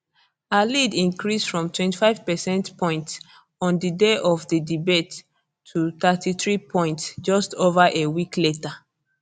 her lead increase from 25 percentage points on di day of di debate to 33 points just ova a week later